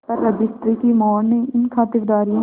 पर रजिस्ट्री की मोहर ने इन खातिरदारियों